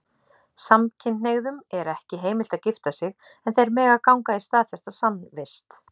Samkynhneigðum er ekki heimilt að gifta sig, en þeir mega ganga í staðfesta samvist.